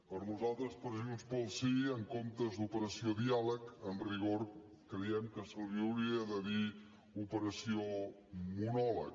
per nosaltres per junts pel sí en comptes d’operació diàleg en rigor creiem que se li hauria de dir operació monòleg